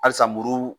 Halisa muru